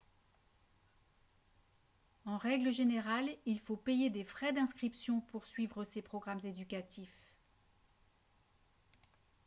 en règle générale il faut payer des frais d'inscription pour suivre ces programmes éducatifs